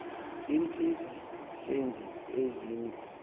iintsiza senzi ezingu